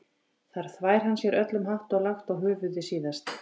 Þar þvær hann sér öllum hátt og lágt og höfuðið síðast.